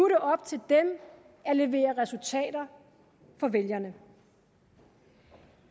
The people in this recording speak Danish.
det op til dem at levere resultater for vælgerne